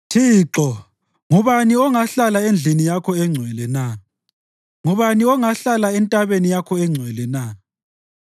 Thixo, ngubani ongahlala endlini yakho engcwele na? Ngubani ongahlala entabeni yakho engcwele na?